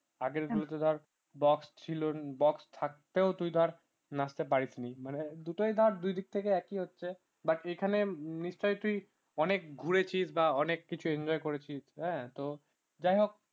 আগেরগুলোতে ধর box ছিল box থাকতেও তুই ধর না আসতে পারিস নি মানে দুটোই দিক থেকে একই হচ্ছে but এখানে নিশ্চয়ই তুই অনেক করেছিস বা অনেক enjoy করেছিস হ্যাঁ তো যাই হোক